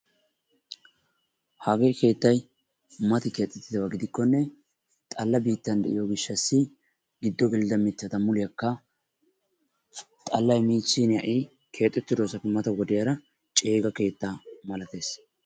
hagee keettay mati keexxettidaaba gidikkonne xalla biitta gidiyo gishshaw giddon gelidda mittata muliyaakka xallay miichin ha'i keexxetidoosappe mata wodiyaara ceega kettaa malatees.